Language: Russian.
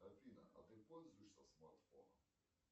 афина а ты пользуешься смартфоном